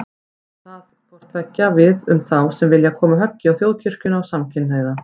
Á það hvort tveggja við um þá sem vilja koma höggi á Þjóðkirkjuna og samkynhneigða.